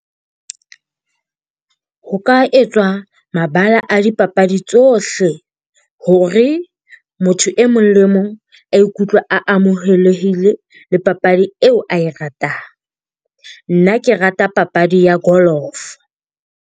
Ho ka etswa mabala a dipapadi tsohle hore motho e mong le mong a ikutlwe a amohelehile le papadi eo ae ratang. Nna ke rata papadi ya golf-o.